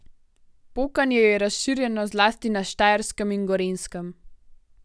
Pokanje je razširjeno zlasti na Štajerskem in Gorenjskem.